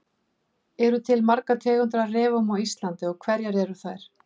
Eru til margar tegundir af refum á Íslandi og hverjar eru þær?